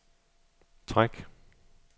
træk